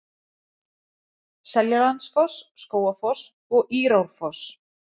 Seljalandsfoss, Skógafoss og Írárfoss.